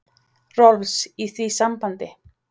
Rolfs, í því sambandi.